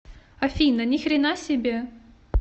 афина ни хрена себе